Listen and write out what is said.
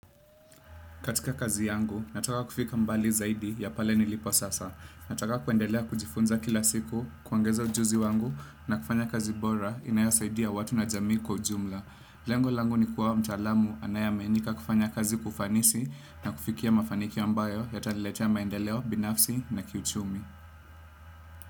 Katika kazi yangu, nataka kufika mbali zaidi ya pale nilipo sasa. Nataka kuendelea kujifunza kila siku, kuongeza ujuzi wangu na kufanya kazi bora inayosaidia watu na jamii kwa ujumla. Lengo langu ni kuwa mtaalamu anayeaminika kufanya kazi kwa ufanisi na kufikia mafanikiyo ambayo yataniletea maendeleo binafsi na kiuchumi.